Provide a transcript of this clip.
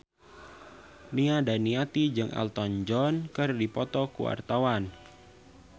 Nia Daniati jeung Elton John keur dipoto ku wartawan